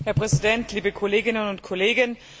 Herr Präsident, liebe Kolleginnen und Kollegen!